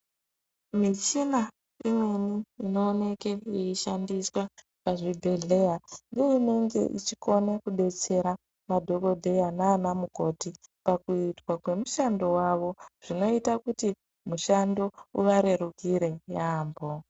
Michina imweni inooneke yeishandiswa pazvibhedhleya neinge ichikone kubetsera madhogodheya nana mukoti. Pakuitwa kwemushando vavo zvinoita kuti mushando uvarerukire yaambo.